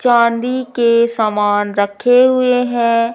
चांदी के समान रखे हुए हैं।